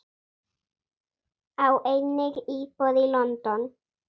Á einnig íbúð í London.